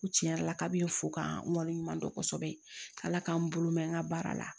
U tiɲɛ yɛrɛ la kabini n fo k'a n wale ɲuman dɔn kosɛbɛ k'ala k'an bolo mɛn n ka baara la